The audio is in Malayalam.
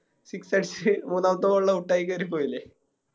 Six അടിച്ച് മൂന്നാമത്തെ Ball ല് Out ആയി കേറി പോയിലെ